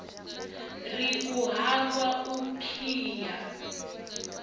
ri u hangwa u khiya